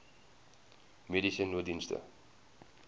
mediese nooddienste